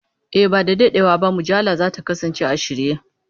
E, ba da daɗewa ba mujallar za ta kasance a shirye.